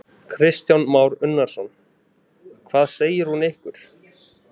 Kristján Már Unnarsson: Hvað segir hún ykkur?